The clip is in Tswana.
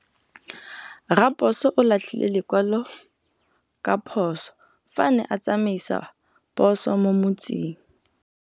Raposo o latlhie lekwalô ka phosô fa a ne a tsamaisa poso mo motseng.